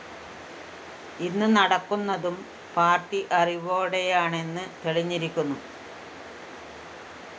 ഇന്ന് നടക്കുന്നതും പാര്‍ട്ടി അറിവോടെയാണെന്ന് തെളിഞ്ഞിരിക്കുന്നു